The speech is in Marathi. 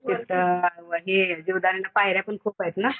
तिथं हे जीवदानीला पायऱ्यापण खूपयेत ना?